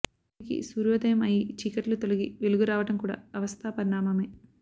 తిరిగి సూర్యోదయం అయి చీకట్లు తొలగి వెలుగు రావడం కూడా అవస్థా పరిణామమే